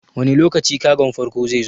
Wane lokaci kagon farko zai zo?